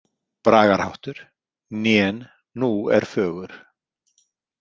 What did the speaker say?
Bragarháttur: „Nén Nú er fögur“.